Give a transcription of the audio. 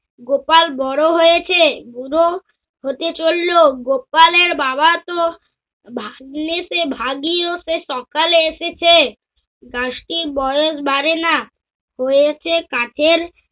গোপাল বড় হয়েছে। বুড়ো হতে চলল গোপালের বাবা তো- ভাগনেতে ভাগী হতে সকালে এসেছে বয়স বাড়ে নাহ। হয়েছে কাঠের